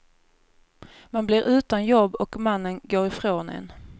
Man blir utan jobb och mannen går ifrån en.